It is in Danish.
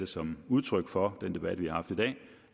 som udtryk for